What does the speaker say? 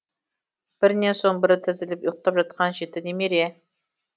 бірінен соң бірі тізіліп ұйықтап жатқан жеті немере